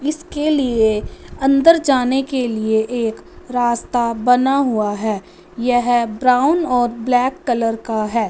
इसके लिए अंदर जाने के लिए एक रास्ता बना हुआ है यह ब्राउन और ब्लैक कलर का हैं।